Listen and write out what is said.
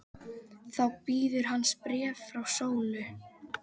Þá bíður hans bréf frá Sólu.